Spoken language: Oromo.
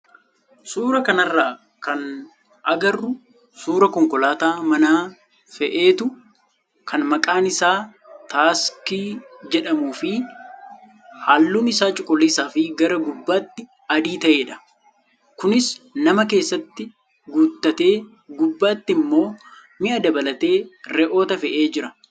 Suuraa kanarraa kan agarru suuraa konkolaataa mana feetu kan maqaan isaa taaksii jedhamuu fi halluun isaa cuquliisaa fi gara gubbaatti adii taatedha. Kunis nama keessatti guuttatee gubbaatti immoo mi'a dabalatee re'oota fee'ee jira.